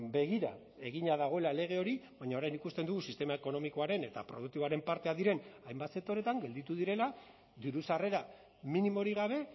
begira egina dagoela lege hori baina orain ikusten dugu sistema ekonomikoaren eta produktiboaren parteak diren hainbat sektoretan gelditu direla diru sarrera minimorik gabe